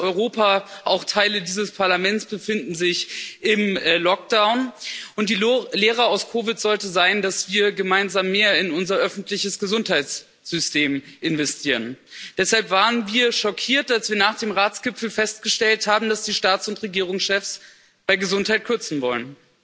Fast ganz Europa, auch Teile dieses Parlaments, befinden sich im Lockdown, und die Lehre aus COVID sollte sein, dass wir gemeinsam mehr in unser öffentliches Gesundheitssystem investieren. Deshalb waren wir schockiert, als wir nach dem Ratsgipfel festgestellt haben, dass die Staats und Regierungschefs bei Gesundheit kürzen wollen.